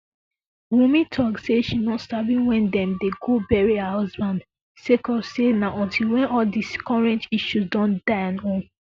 wunmi tok say she no sabi wen dem dem go bury her husband sake of say na until wen all di current issues don die own